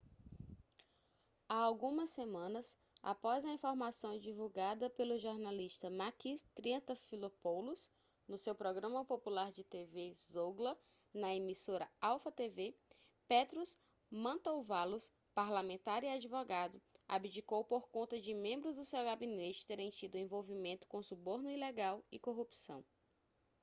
há algumas semanas após a informação divulgada pelo jornalista makis triantafylopoulos no seu programa popular de tv zougla na emissora alpha tv petros mantouvalos parlamentar e advogado abdicou por conta de membros do seu gabinete terem tido envolvimento com suborno ilegal e corrupção